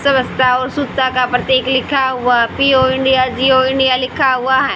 स्वच्छता और शुद्धता का प्रतीक लिखा हुआ है पियो इंडिया जिओ इंडिया लिखा हुआ है।